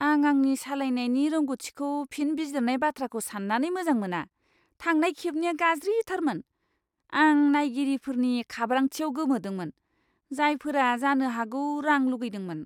आं आंनि सालायनायनि रोंग'थिखौ फिन बिजिरनाय बाथ्राखौ सान्नानै मोजां मोना। थांनाय खेबनिया गाज्रिथारमोन। आं नायगिरिफोरनि खाब्रांथिआव गोमोदोंमोन, जायफोरा जानो हागौ रां लुगैदोंमोन।